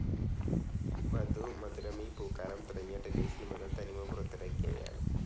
വധു, മധുരമീ പൂക്കാലം, തുടങ്ങിയ ടെലിസിനിമകൾ തനിമ പുറത്തിറക്കിയവയാണ്.